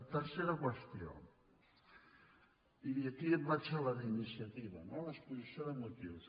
tercera qüestió i aquí vaig a la d’iniciativa no a l’exposició de motius